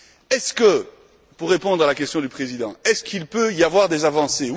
Est ce que pour répondre à la question du président il peut y avoir des avancées?